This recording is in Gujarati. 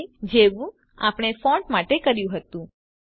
જેવું આપણે ફોન્ટ માટે કર્યું હતું